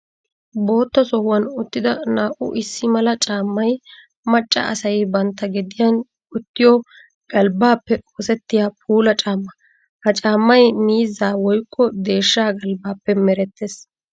Bootta sohuwan uttidda naa''u issi mala caammay macca asay bantta gediyan wottiyo galbbappe oosettiya puula caamma. Ha cammay miizza woykko deeshsha galbbappe mereetes.